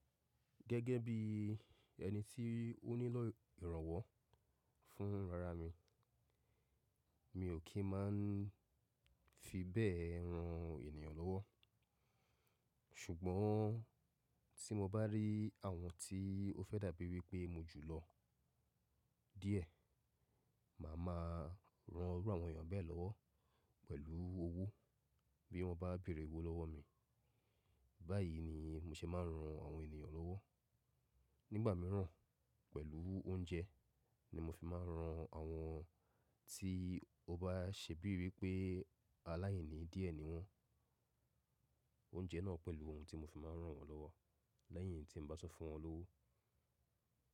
Gẹ́gẹ́ bí ẹni tí ó nílò ìrànwọ́ fún ara mi, mi ò kí máa n fi bẹ́ẹ̀ ran ènìyàn lọ́wọ́. Ṣùgbọ́n tí mo bá rí àwọn tí ó fẹ́ dàbí wí pé mo jù lọ díẹ̀, màá ma ran irú àwọn ènìyàn bẹ́ẹ̀ lọ́wọ́ pẹ̀lú owó bí wọ́n bá béèrè owó lọ́wọ́ mi. Báyìí ni mo ṣe máa n ran àwọn ènìyàn lọ́wọ́. Nígbà mìíràn, pẹ̀lú oúnjẹ ni mo fi máa n ran àwọn tí ó bá ṣe bíi wí pé aláìní díẹ̀ ni wọ́n. Oúnjẹ náà pẹ̀lú ohun tí mo fi máa n rán wọn lọ́wọ́ lẹ́yìn tí n bá se fún wọn lówó.